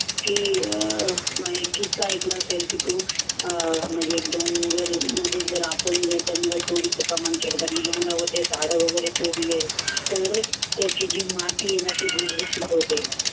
की किस्सा ऐकला होता जर आपण पूर्ण ते झाड वगैरे तोडले त्याची जी माती आहे ना ती